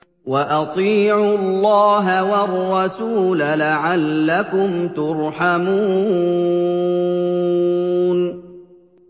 وَأَطِيعُوا اللَّهَ وَالرَّسُولَ لَعَلَّكُمْ تُرْحَمُونَ